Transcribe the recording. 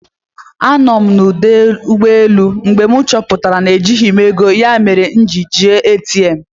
Anọ m na ọdụ ụgbọelụ mgbe m chọpụtara na ejighị m ego ya mere m ji jee ATM